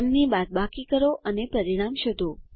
તેમની બાદબાકી કરો અને પરિણામ શોધો